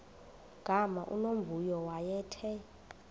gama unomvuyo wayethe